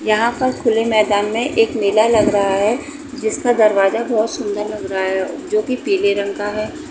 यहाँ पर खुले मैदान में एक मेला लग रहा है। जिसमें दरवाजा बहुत सुंदर लग रहा है जो की पीले रंग का है।